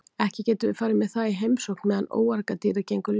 Ekki getum við farið með það í heimsókn meðan óargadýrið gengur laust.